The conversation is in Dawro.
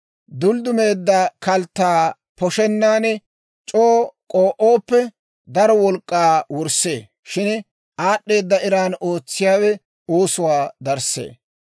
Dulddumeedda kalttaa poshennan c'oo k'oo'ooppe, daro wolk'k'aa wurssee; shin aad'd'eeda eran ootsiyaawe oosuwaa darssee.